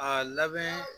A labɛn